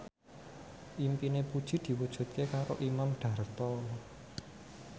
impine Puji diwujudke karo Imam Darto